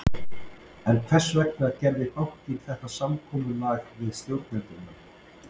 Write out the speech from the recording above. En hvers vegna gerði bankinn þetta samkomulag við stjórnendurna?